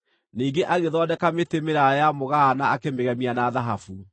Ningĩ agĩthondeka mĩtĩ mĩraaya ya mũgaa na akĩmĩgemia na thahabu.